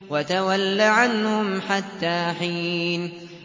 وَتَوَلَّ عَنْهُمْ حَتَّىٰ حِينٍ